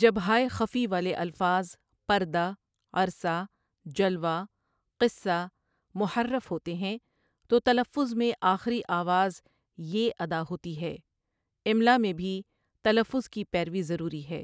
جب ہائے خفی والے الفاظ پردہ، عرصہ، جلوہ، قصّہ محرّف ہوتے ہیں تو تلفّظ میں آخری آواز ے ادا ہوتی ہے املا میں بھی تلفّظ کی پیروی ضروری ہے